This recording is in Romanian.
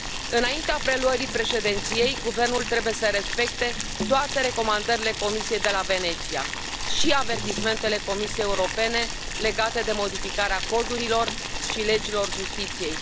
Înaintea preluării președinției, guvernul trebuie să respecte toate recomandările Comisiei de la Veneția și avertismentele Comisiei Europene legate de modificarea codurilor și legilor justiției.